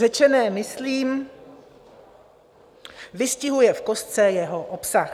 Řečené, myslím, vystihuje v kostce jeho obsah.